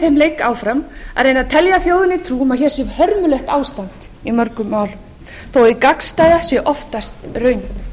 þeim leik áfram að reyna að telja þjóðinni trú um að hér sé hörmulegt ástand í ýmsum málum þótt hið gagnstæða sé oftast raunin